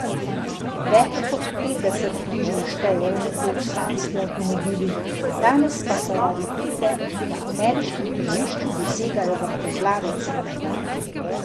Več kot petdeset križev štejejo nekoč sanjski avtomobili, danes pa so raritete, ki na ameriškem tržišču dosegajo vrtoglave cene.